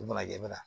U mana kɛ bɛ na